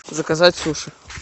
заказать суши